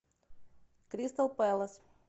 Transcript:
кристал пэлас